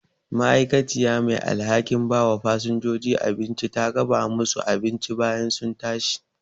ma'aikaciya mai alhakin bawa fasinjoji abinci ta raba musu abinci bayan sun tashi